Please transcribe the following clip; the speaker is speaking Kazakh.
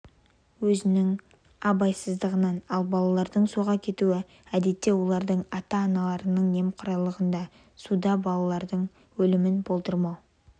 оның өзінің абайсыздығы ал балалардың суға кетуі әдетте олардың ата-аналарының немқұрайлығында суда балалардың өлімің болдырмау